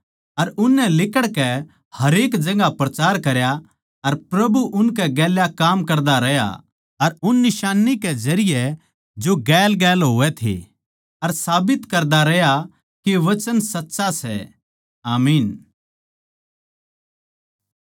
अर उननै लिकड़कै हरेक जगहां प्रचार करया अर प्रभु उनकै गेल्या काम करदा रहया अर उन निशान्नी कै जरिये जो गेलगेल होवै थे अर साबित करदा रहया के वचन सच्चा सै आमीन